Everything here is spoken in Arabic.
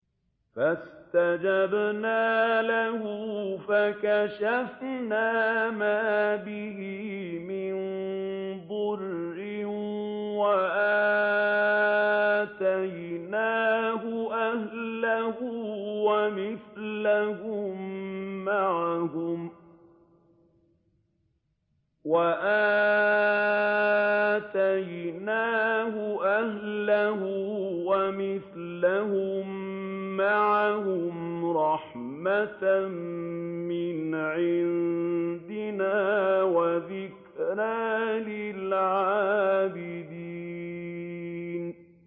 فَاسْتَجَبْنَا لَهُ فَكَشَفْنَا مَا بِهِ مِن ضُرٍّ ۖ وَآتَيْنَاهُ أَهْلَهُ وَمِثْلَهُم مَّعَهُمْ رَحْمَةً مِّنْ عِندِنَا وَذِكْرَىٰ لِلْعَابِدِينَ